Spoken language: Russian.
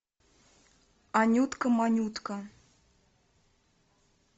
анютка манютка